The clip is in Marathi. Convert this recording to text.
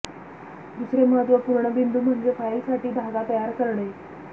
दुसरे महत्त्वपूर्ण बिंदू म्हणजे फाइल साठी धागा तयार करणे